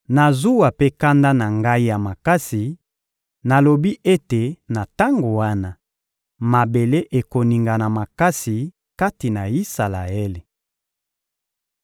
Na zuwa mpe kanda na Ngai ya makasi, nalobi ete na tango wana, mabele ekoningana makasi kati na Isalaele.